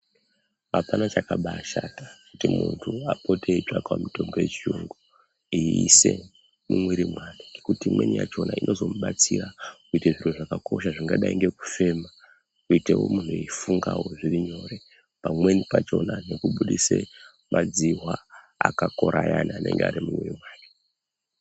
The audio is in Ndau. Hapana chakabashata kuti munthu apote eitsvakawo mitombo yechiyungu eise mumwiri mwake nokuti imweni yachona inozomubatsira kuite zviro zvakosha. Zvingadai ngekufema, kuite munthu eifungawo zviri nyore pamweni pachona nekubudise madzihwa akakora ayani anenge ari mumwiri mwake.